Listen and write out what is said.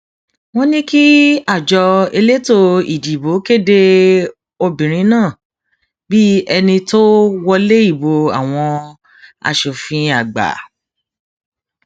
wọn ní kí àjọ elétò ìdìbò kéde obìnrin náà bíi ẹni tó wọlé ìbò àwọn asòfin àgbà